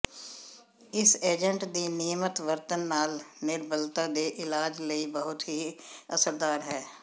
ਇਸ ਏਜੰਟ ਦੀ ਨਿਯਮਤ ਵਰਤਣ ਨਾਲ ਨਿਰਬਲਤਾ ਦੇ ਇਲਾਜ ਲਈ ਬਹੁਤ ਹੀ ਅਸਰਦਾਰ ਹੈ